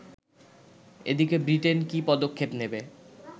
এদিকে ব্রিটেন কী পদক্ষেপ নেবে